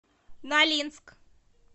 нолинск